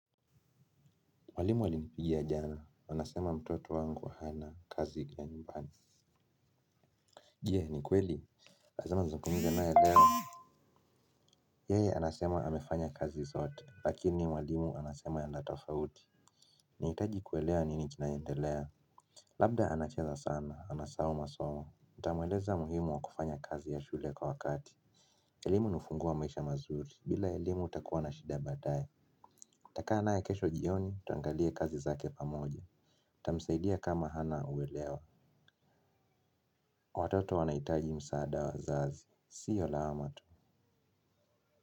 Mwalimu alinipigia jana, anasema mtoto wangu hana kazi ya nyumbani. Je ni kweli? Lazima nizungumze naye leo yeye anasema amefanya kazi zote, lakini mwalimu anasema ya na tofauti. Niitaji kuelewa nini kinaendelea? Labda anacheza sana, anasahau masomo nitamweleza muhimu wa kufanya kazi ya shule kwa wakati. Elimu ni ufunguo wa maisha mazuri, bila elimu utakuwa na shida baadae. Nitakaa naye kesho jioni, tuangalie kazi zake pamoja. Tamsaidia kama hana uelewa. Watoto wanaitaji msaada wa wazazi, siyo lawama tu.